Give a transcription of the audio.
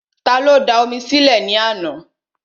Ta ló da omi sí lẹ̀ ní àná?